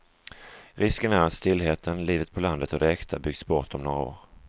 Risken är att stillheten, livet på landet och det äkta byggts bort om några år.